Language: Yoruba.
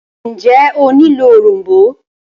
ǹjẹ́ o nílò òrom̀bó?